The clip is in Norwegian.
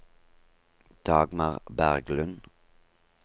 Dagmar Berglund